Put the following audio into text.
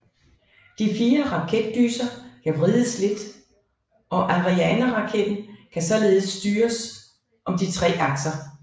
De fire raketdyser kan vrides lidt og Arianeraketten kan således styres om de tre akser